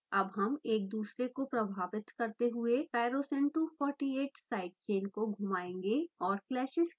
अब हम एक दुसरे को प्रभावित करते हुए tyrosine 248 साइड चेन को घुमाएंगे और clashes के लिए चेक करेंगे